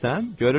Görürsən?